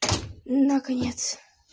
наконец